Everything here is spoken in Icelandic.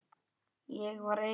Ég var eigin